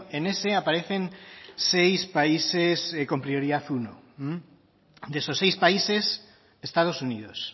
en ese aparecen seis países con prioridad uno de esos seis países estados unidos